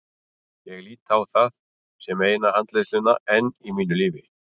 Ég lít á það sem eina handleiðsluna enn í mínu lífi.